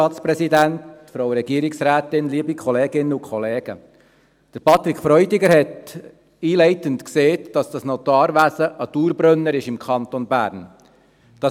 Patrick Freudiger hat einleitend gesagt, dass das Notariatswesen ein Dauerbrenner im Kanton Bern ist.